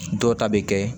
Dɔw ta bɛ kɛ